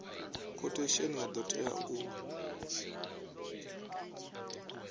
khothesheni ya do tea u